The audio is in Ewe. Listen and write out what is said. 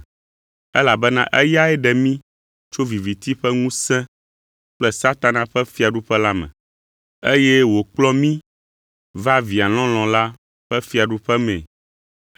Elabena eyae ɖe mí tso viviti ƒe ŋusẽ kple Satana ƒe fiaɖuƒe la me, eye wòkplɔ mí va Via lɔlɔ̃ la ƒe fiaɖuƒe mee;